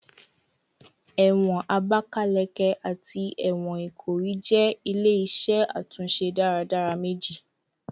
Ẹwọn Abakaleke ati ẹwọn Ikoyi jẹ ile-iṣẹ atunṣe daradara meji